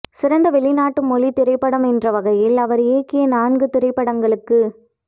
சிறந்த வெளிநாட்டு மொழித் திரைப்படம் என்ற வகையில் அவர் இயக்கிய நான்கு திரைப்படங்களுக்கு